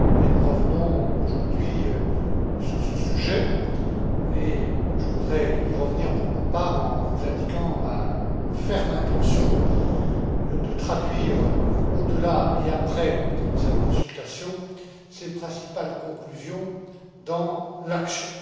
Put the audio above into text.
Nous revenons aujourd'hui sur ce sujet et je voudrais y revenir, pour ma part, en vous indiquant ma ferme intention de traduire, au delà et après cette consultation, ses principales conclusions dans l'action.